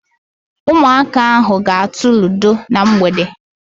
Ụmụaka ahụ ga-atụ ludo na mgbede.